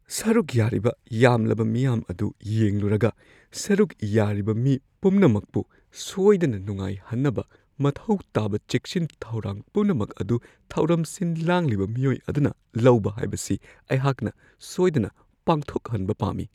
ꯁꯔꯨꯛ ꯌꯥꯔꯤꯕ ꯌꯥꯝꯂꯕ ꯃꯤꯌꯥꯝ ꯑꯗꯨ ꯌꯦꯡꯂꯨꯔꯒ, ꯁꯔꯨꯛ ꯌꯥꯔꯤꯕ ꯃꯤ ꯄꯨꯝꯅꯃꯛꯄꯨ ꯁꯣꯏꯗꯅ ꯅꯨꯡꯉꯥꯏꯍꯟꯅꯕ ꯃꯊꯧ ꯇꯥꯕ ꯆꯦꯛꯁꯤꯟ ꯊꯧꯔꯥꯡ ꯄꯨꯝꯅꯃꯛ ꯑꯗꯨ ꯊꯧꯔꯝ ꯁꯤꯟ-ꯂꯥꯡꯂꯤꯕ ꯃꯤꯑꯣꯏ ꯑꯗꯨꯅ ꯂꯧꯕ ꯍꯥꯏꯕꯁꯤ ꯑꯩꯍꯥꯛꯅ ꯁꯣꯏꯗꯅ ꯄꯥꯡꯊꯣꯛꯍꯟꯕ ꯄꯥꯝꯃꯤ ꯫